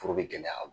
Foro bɛ gɛlɛya